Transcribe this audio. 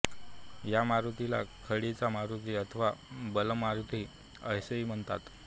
या मारुतीला खडीचा मारुती अथवा बालमारुती असेही म्हणतात